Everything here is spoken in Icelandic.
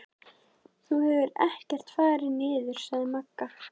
Þú hefur ekkert farið niður, sagði Magga.